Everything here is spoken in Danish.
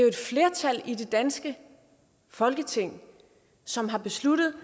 et flertal i det danske folketing som har besluttet